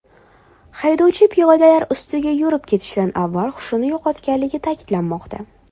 Haydovchi piyodalar ustiga yurib ketishdan avval hushini yo‘qotganligi ta’kidlanmoqda.